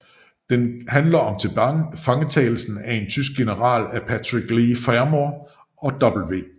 Den handler om tilfangetagelsen af en tysk general af Patrick Leigh Fermor og W